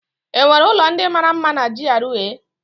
Enwere ụlọ ndị mara mma na GRA?